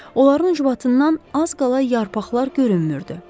Onların ucbatından az qala yarpaqlar görünmürdü.